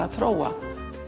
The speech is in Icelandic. að þróa